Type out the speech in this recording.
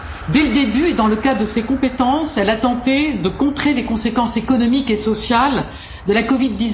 Dès le début et dans le cadre de ses compétences, elle a tenté de contrer les conséquences économiques et sociales de la COVID